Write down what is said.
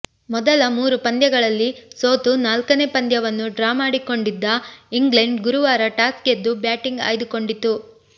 ಮೊದಲ ಮೂರು ಪಂದ್ಯಗಳಲ್ಲಿ ಸೋತು ನಾಲ್ಕನೇ ಪಂದ್ಯವನ್ನು ಡ್ರಾ ಮಾಡಿಕೊಂಡಿದ್ದ ಇಂಗ್ಲೆಂಡ್ ಗುರುವಾರ ಟಾಸ್ ಗೆದ್ದು ಬ್ಯಾಟಿಂಗ್ ಆಯ್ದುಕೊಂಡಿತು